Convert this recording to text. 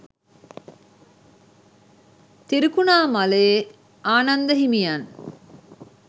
තිරිකුණාමලයේ ආනන්ද හිමියන්